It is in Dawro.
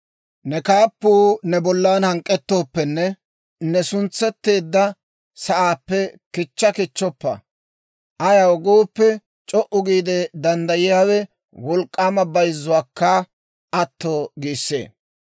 Ne kaappuu ne bollan hank'k'ettooppenne, ne suntsetteedda sa'aappe kichcha kichchoppa; ayaw gooppe, c'o"u giide danddayiyaawe wolk'k'aama bayzzuwaakka atto giissee.